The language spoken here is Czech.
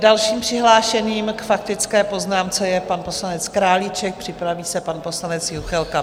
Dalším přihlášeným k faktické poznámce je pan poslanec Králíček, připraví se pan poslanec Juchelka.